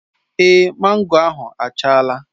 Èé, mango ahụ achala.